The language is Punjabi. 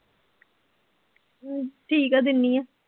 ਅਹ ਠੀਕ ਆ ਦਿਨੀ ਆ